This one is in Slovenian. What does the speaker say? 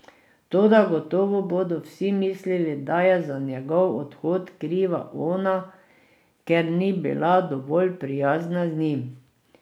Toda gotovo bodo vsi mislili, da je za njegov odhod kriva ona, ker ni bila dovolj prijazna z njim.